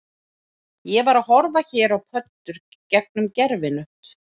Ég var að horfa hér á pöddur gegnum gervihnött